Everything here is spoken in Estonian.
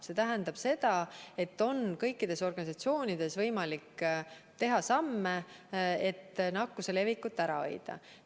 See tähendab seda, et kõikides organisatsioonides on võimalik astuda teatud samme, et nakkuse levikut ära hoida.